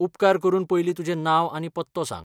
उपकार करून पयलीं तुजें नांव आनी पत्तो सांग.